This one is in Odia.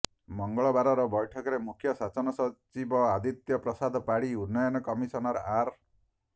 ମଙ୍ଗଳବାରର ବୈଠକରେ ମୁଖ୍ୟ ଶାସନ ସଚିବ ଆଦିତ୍ୟ ପ୍ରସାଦ ପାଢ଼ୀ ଉନ୍ନୟନ କମିସନର ଆର୍